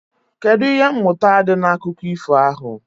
Kedụ ihe mmụta dị n'akụkọ ifo ahụ?